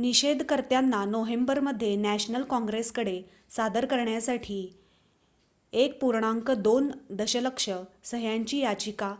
निषेधकर्त्यांना नोव्हेंबरमध्ये नॅशनल कॉंग्रेसकडे सादर करण्यासाठी 1.2 दशलक्ष सह्यांची याचिका